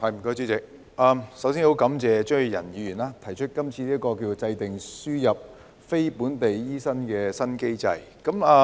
首先，我很感謝張宇人議員提出"制訂輸入非本地培訓醫生的新機制"議案。